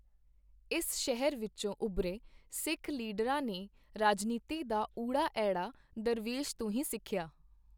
ਇਸ ਸ਼ਹਿਰ ਵਿੱਚੋਂ ਉਭਰੇ ਸਿੱਖ ਲੀਡਰਾਂ ਨੇ ਰਾਜਨੀਤੀ ਦਾ ਊੜਾ, ਐੜਾ ਦਰਵੇਸ਼ ਤੋਂ ਹੀ ਸਿੱਖਿਆ।